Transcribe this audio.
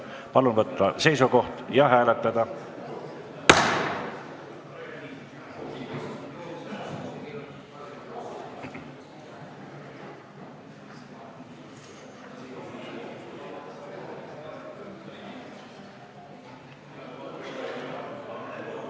Palun võtta seisukoht ja hääletada!